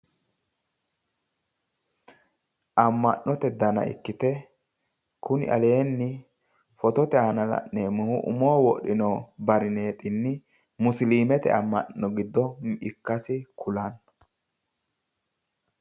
Amma'note dana ikkite kuni aleenni fotote aana la'neemohu umoho wodhino barineexinni musilimete amma'no giddo ikkasi kulanno